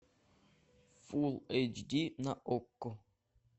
фулл эйч ди на окко